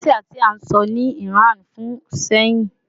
Persian ti a sọ ni Iran fun sehin